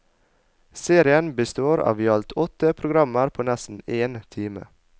Serien består av i alt åtte programmer på nesten en time.